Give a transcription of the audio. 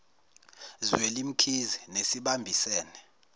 zweli mkhize nesibambisene